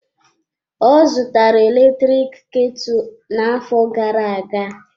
Ọ zụtara eletrik ketu na-afọ gara-aga.